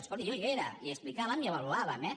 escolti jo hi era i explicàvem i avaluàvem eh